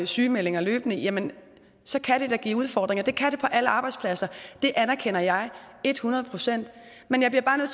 sygemeldinger løbende jamen så kan det da give udfordringer det kan det på alle arbejdspladser det anerkender jeg et hundrede procent men jeg bliver bare nødt